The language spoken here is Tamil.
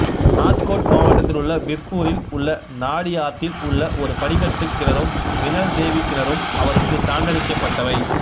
ராஜ்கோட் மாவட்டத்திலுள்ள வீர்பூரில் உள்ள நாடியாத்தில் உள்ள ஒரு படிக்கட்டுக் கிணறும் மினல்தேவி கிணறும் அவருக்குச் சான்றளிக்கப்பட்டவை